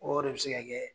O de bɛ se ka kɛ